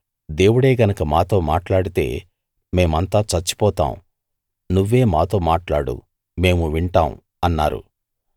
దేవుడే గనక మాతో మాట్లాడితే మేమంతా చచ్చిపోతాం నువ్వే మాతో మాట్లాడు మేము వింటాం అన్నారు